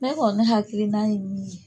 Ne kɔni ne hakiliina ye min ye